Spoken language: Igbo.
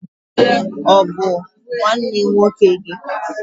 Ọ bụ nwanne nwoke gị?